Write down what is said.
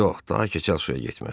Yox, daha keçəl şüyə getməz.